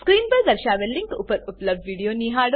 screen પર દર્શાવેલ link પર ઉપલબ્ધ વિડીયો નિહાળો